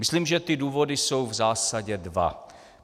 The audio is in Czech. Myslím, že ty důvody jsou v zásadě dva.